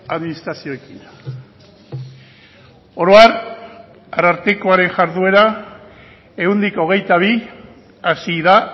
administrazioekin oro har arartekoaren jarduera ehuneko hogeita bi hasi da